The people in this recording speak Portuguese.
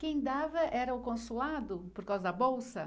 Quem dava era o consulado, por causa da bolsa?